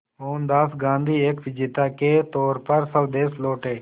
मोहनदास गांधी एक विजेता के तौर पर स्वदेश लौटे